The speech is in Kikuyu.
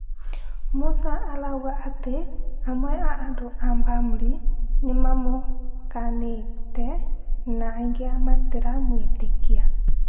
Musa arauga atĩ amwe a andũ a bamĩrĩ nĩmamũkanĩte na angĩ matiramwĩtĩkia.